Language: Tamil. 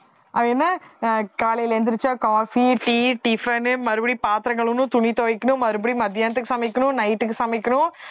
அவன் என்ன ஆஹ் காலையில எந்திரிச்சா coffee, tea, tiffin னு மறுபடியும் பாத்திரம் கழுவணும், துணி துவைக்கணும் மறுபடியும் மதியானத்துக்கு சமைக்கணும் night க்கு சமைக்கணும்